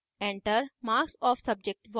enter marks of subject1